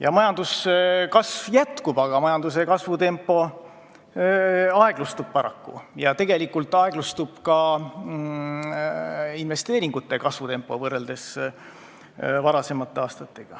Jah, majanduskasv jätkub, aga selle kasvutempo aeglustub paraku ja võrreldes varasemate aastatega tegelikult aeglustub ka investeeringute kasvu tempo.